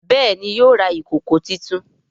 Béèni yóò rà ìkọkọ títún.